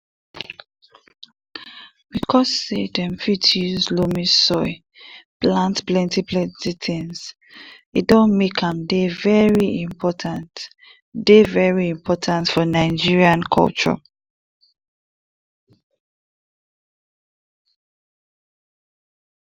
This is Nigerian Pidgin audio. because say dem fit use loamy soil plant plenty plenty things e don make am dey very important dey very important for nigerian culture